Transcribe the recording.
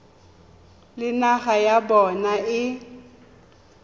le naga ya bona e